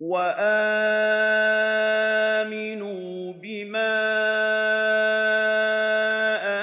وَآمِنُوا بِمَا